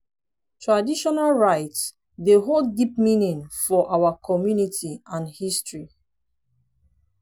traditional rites dey hold deep meaning for our community and history.